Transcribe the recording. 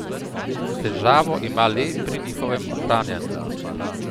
Težavo ima le pri njihovem ohranjanju.